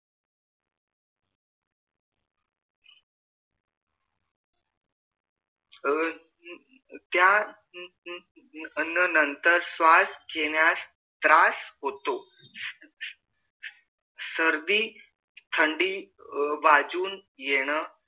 अह त्या नंतर श्वास घेण्यास त्रास होतो सर्दी थंडी वाजून येन